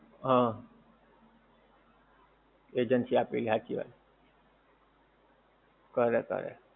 હં. agency આપેલી હાંચી વાત. કરે કરે.